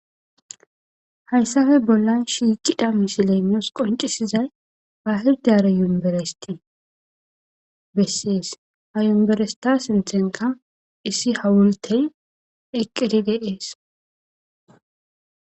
Hayssafe bollan shiiqidda misile miyos qoncisizay ha hirdara yumberesti bessees ha yumberesta sinthenka issi hawultey eqqedi de'ees